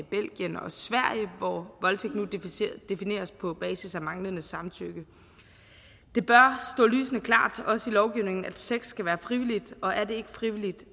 belgien og sverige hvor voldtægt nu defineres på basis af manglende samtykke det bør stå lysende klart også i lovgivningen at sex skal være frivilligt og er det ikke frivilligt